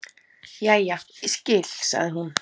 Jæja, ég skil, sagði hún.